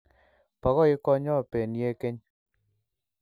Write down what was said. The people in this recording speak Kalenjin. Bo koik konyo benie keny